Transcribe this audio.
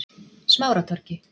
Smáratorgi